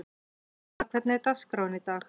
Sossa, hvernig er dagskráin í dag?